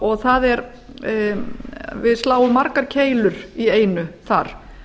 og við sláum margar keilur í einu þar